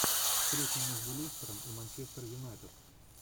встреча между лестером и манчестер юнайтед